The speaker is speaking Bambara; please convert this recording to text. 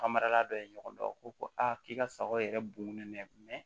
Ka marala dɔ ye ɲɔgɔn dɔn o ko ko a k'i ka sagaw yɛrɛ bun nɛ mɛ